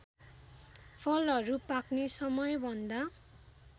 फलहरू पाक्ने समयभन्दा